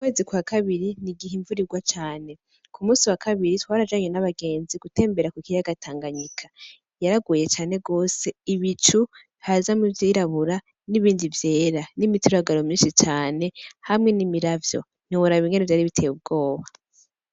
Ukwezi kwa kabiri ni igihe imvura igwa cane kumusi wa kabiri twarajanye n'abagenzi gutembera kukiyaga tanganyika yaraguye cane gose ibicu hazamwo ivyirabura nibindi vyera n'imituragaro myinshi cane hamwe n'imiravyo ntiworaba ingene vyari biteye ubwoba.